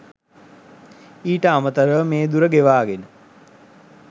ඊට අමතරව මේ දුර ගෙවාගෙන